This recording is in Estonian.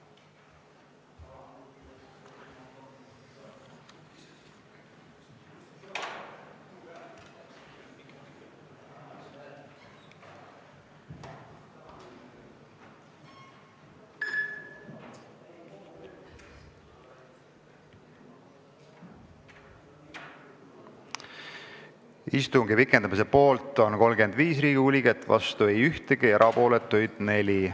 Hääletustulemused Istungi pikendamise poolt on 35 Riigikogu liiget, vastu ei ole keegi, erapooletuid on 4.